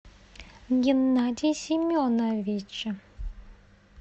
геннадий семенович